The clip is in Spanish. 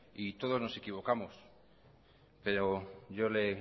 todos nos equivocamos yo